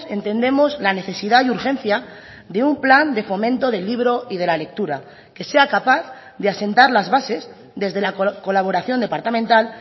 entendemos la necesidad y urgencia de un plan de fomento del libro y de la lectura que sea capaz de asentar las bases desde la colaboración departamental